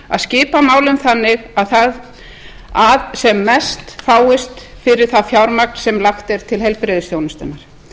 að skila málum þannig að sem mest fáist fyrir það fjármagn sem lagt er til heilbrigðisþjónustunnar